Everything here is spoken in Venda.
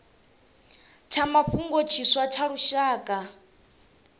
tsha mafhungo tshiswa tsha lushaka